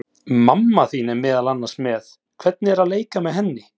Mamma þín er meðal annars með, hvernig er að leika með henni?